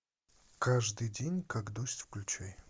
каждый день как дождь включай